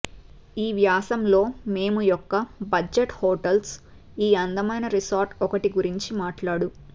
ఈ వ్యాసం లో మేము యొక్క బడ్జెట్ హోటల్స్ ఈ అందమైన రిసార్ట్ ఒకటి గురించి మాట్లాడు